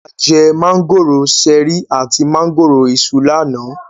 A jẹ mángòrò ṣẹ̀rí àti mángòrò Iṣu lánàá.